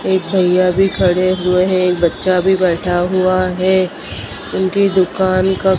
एक भईया भी खड़े हुए हैं एक बच्चा भी बैठा है उनकी दुकान का--